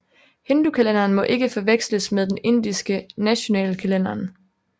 Hindukalenderen må ikke forveksles med den indiske nationale kalenderen